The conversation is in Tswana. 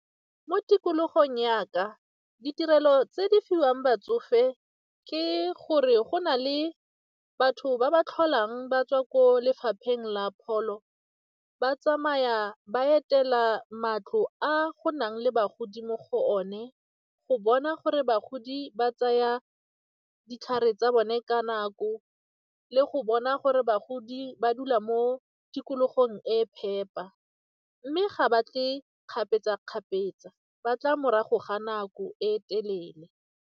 Mo tikologong ya ka, ditirelo tse di fiwang batsofe ke gore go na le batho ba ba tlholang ba tswa ko lefapheng la pholo, ba tsamaya ba etela matlo a go nang le bagodi mo go one go bona gore bagodi ba tsaya ditlhare tsa bone ka nako le go bona gore bagodi ba dula mo tikologong e e phepa mme ga ba tle kgapetsa-kgapetsa ba tla morago ga nako e telele.